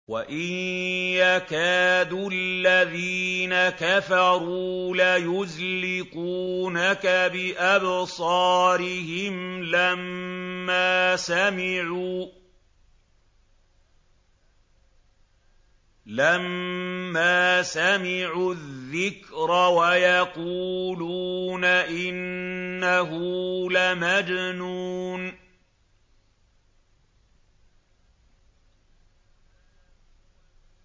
وَإِن يَكَادُ الَّذِينَ كَفَرُوا لَيُزْلِقُونَكَ بِأَبْصَارِهِمْ لَمَّا سَمِعُوا الذِّكْرَ وَيَقُولُونَ إِنَّهُ لَمَجْنُونٌ